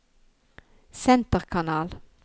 senterkanal